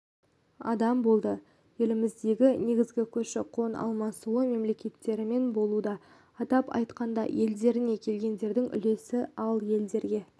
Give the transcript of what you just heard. адам болды еліміздегі негізгі көші-қон алмасуы мемлекеттерімен болуда атап айтқанда елдерінен келгендердің үлесі ал елдерге